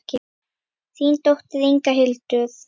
Þín dóttir, Inga Hildur.